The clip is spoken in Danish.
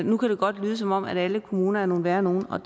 nu kan det godt lyde som om at alle kommuner er nogle værre nogle og